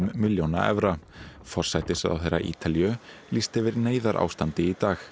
milljóna evra forsætisráðherra Ítalíu lýsti yfir neyðarástandi í dag